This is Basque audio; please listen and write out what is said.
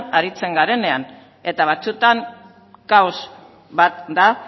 aritzen garenean eta batzuetan kaos bat da